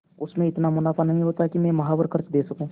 उससे इतना मुनाफा नहीं होता है कि माहवार खर्च दे सकूँ